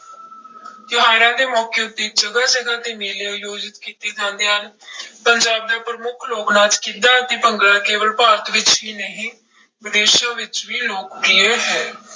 ਤਿਉਹਾਰਾਂ ਦੇ ਮੌਕੇ ਉੱਤੇ ਜਗ੍ਹਾ ਜਗ੍ਹਾ ਤੇ ਮੇਲੇ ਆਯੋਜਿਤ ਕੀਤੇ ਜਾਂਦੇ ਹਨ ਪੰਜਾਬ ਦਾ ਪ੍ਰਮੁੱਖ ਲੋਕ ਨਾਚ ਗਿੱਧਾ ਤੇ ਭੰਗੜਾ ਕੇਵਲ ਭਾਰਤ ਵਿੱਚ ਹੀ ਨਹੀਂ ਵਿਦੇਸ਼ਾਂ ਵਿੱਚ ਵੀ ਲੋਕ ਪ੍ਰਿਯ ਹੈ।